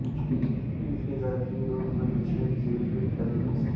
इसे गणितीय रूप में लिखने के विभिन्न तरीके हैं